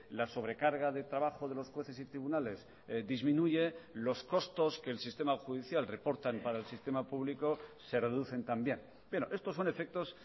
la sobrecarga de trabajo de los jueces y tribunales disminuye los costos que el sistema judicial reportan para el sistema público se reducen también pero estos son efectos